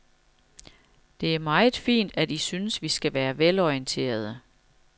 Det er meget fint, at I synes, vi skal være velorienterede.